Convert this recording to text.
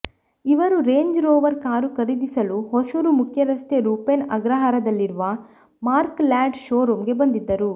ಇವರು Range Rover car ಖರೀದಿಸಲು ಹೊಸೂರು ಮುಖ್ಯರಸ್ತೆ ರೂಪೇನ ಅಗ್ರಹಾರದಲ್ಲಿರುವ ಮಾರ್ಕ್ ಲ್ಯಾಂಡ್ ಶೋ ರೂಮ್ ಗೆ ಬಂದಿದ್ದರು